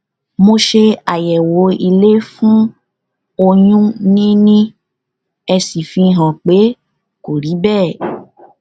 mo ṣe àyẹwò ilé fún oyún níní èsì fi hàn pé kò rí bẹẹ